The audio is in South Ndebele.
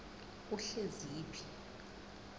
uhleziphi